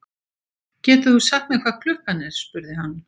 Getur þú sagt mér hvað klukkan er? spurði hann.